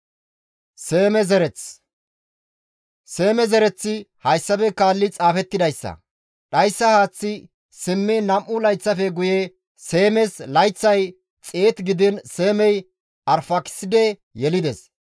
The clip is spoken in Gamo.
Seeme zereththi hayssafe kaallidi xaafettidayssa; dhayssa haaththi simmiin nam7u layththafe guye Seemes layththay 100 gidiin Seemey Arfaakiside yelides.